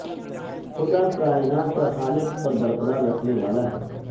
خدا کائنات کا خالق اور برقرار رکھنے والا ہے